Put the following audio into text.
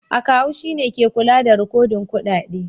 Akawu shine ke kula da rikodin kuɗaɗe.